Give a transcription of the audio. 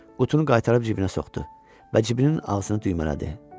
Qutunu qaytarıb cibinə soxdu və cibinin ağzını düymələdi.